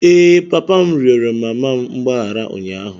Ee, papa m rịọrọ mama m mgbaghara ụnyaahụ.